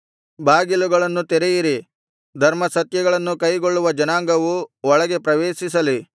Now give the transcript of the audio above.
ಬಾಗಿಲುಗಳನ್ನು ತೆರೆಯಿರಿ ಧರ್ಮಸತ್ಯಗಳನ್ನು ಕೈಗೊಳ್ಳುವ ಜನಾಂಗವು ಒಳಗೆ ಪ್ರವೇಶಿಸಲಿ